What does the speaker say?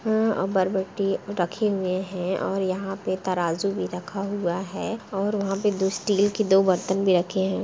अ बरबट्टी रखे हुए है और यहाँ पे तराज़ू भी रखा हुआ है और वहाँ पे दो स्टील के दो बर्तन भी रखे हैं।